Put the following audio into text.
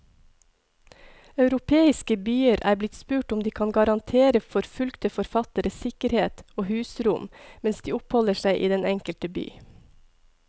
Europeiske byer er blitt spurt om de kan garantere forfulgte forfattere sikkerhet og husrom mens de oppholder seg i den enkelte by.